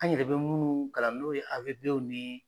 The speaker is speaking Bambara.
An yɛrɛ bɛ munnu kalan n'o ye AVP ni